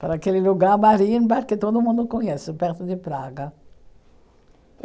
Para aquele lugar marinho que todo mundo conhece, perto de Praga.